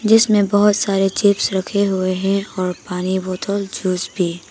जिसमें बहुत सारे चिप्स रखे हुए हैं और पानी बोतल जूस भी।